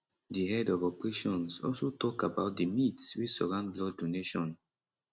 di head of operations also tok about di myths wey surround blood donation